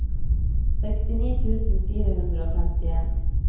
sekstini tusen fire hundre og femtien